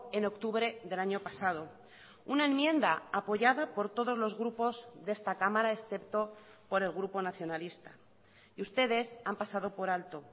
en octubre del año pasado una enmienda apoyada por todos los grupos de esta cámara excepto por el grupo nacionalista y ustedes han pasado por alto